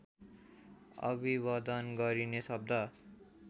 अभिवदन गरिने शब्द